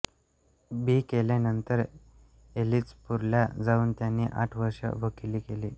बी केले नंतर एलिचपूरला जाऊन त्यांनी आठ वर्षे वकिली केली